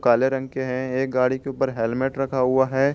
काले रंग के हैं एक गाड़ी के ऊपर हेल्मेट रखा हुआ है।